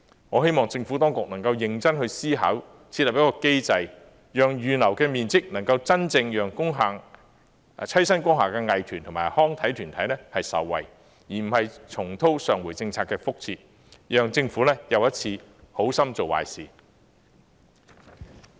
我希望政府當局能夠認真思考設立一個機制，讓預留的面積能夠真正讓棲身工廈的藝團和康體團體受惠，而非重蹈上回政策的覆轍，讓政府又一次好心做壞事。